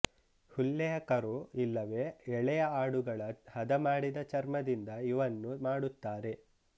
ಹುಲ್ಲೆಯ ಕರು ಇಲ್ಲವೆ ಎಳೆಯ ಆಡುಗಳ ಹದಮಾಡಿದ ಚರ್ಮದಿಂದ ಇವನ್ನು ಮಾಡುತ್ತಾರೆ